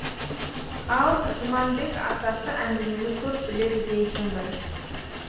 ал жұманбек атасы әңгімені көп біледі дейсің бір